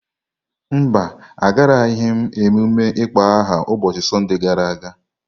Mba, Agaraghị m ememme ịkpọ aha ụbọchị Sọnde gara aga.